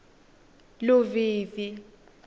luvivi